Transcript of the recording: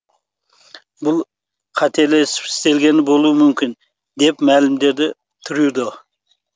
бұл қателесіп істелгені болуы мүмкін деп мәлімдеді трюдо